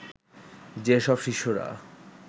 যে সব শিশুরা